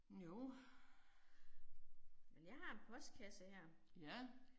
Jo. Ja